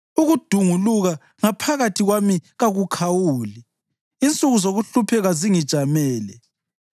Ukudunguluka ngaphakathi kwami kakukhawuli; insuku zokuhlupheka zingijamele.